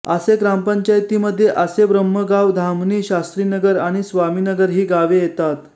आसे ग्रामपंचायतीमध्ये आसेब्रह्मगाव धामणी शास्त्रीनगर आणि स्वामीनगर ही गावे येतात